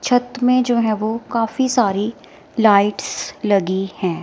छत में जो है वो काफी सारी लाइट्स लगी हैं।